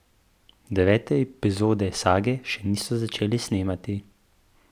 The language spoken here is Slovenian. Devete epizode sage še niso začeli snemati.